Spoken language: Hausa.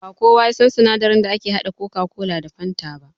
Ba kowa yasan sinadarin da ake haɗa coca-cola da fanta ba